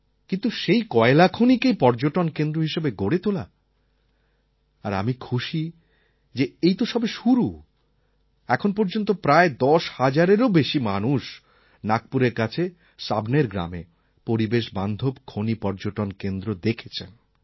কিন্তু সেই কয়লা খনিকেই পর্যটনকেন্দ্র হিসেবে গড়ে তোলা আর আমি খুশি যে এই তো সবে শুরু এখন পর্যন্ত প্রায় দশ হাজারেরও বেশি মানুষ নাগপুরের কাছে সাওনের গ্রামে পরিবেশ বান্ধব খনি পর্যটন কেন্দ্র দেখেছেন